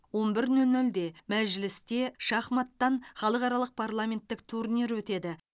он бір нөл нөлде мәжілісте шахматтан халықаралық парламенттік турнир өтеді